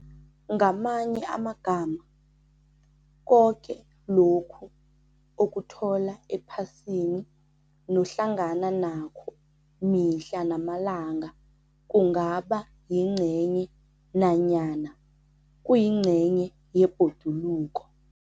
Ngamanye amagama, koke lokhu ukuthola ephasini nohlangana nakho mihla namalanga kungaba yingcenye nanyana kuyingcenye yebhoduluko.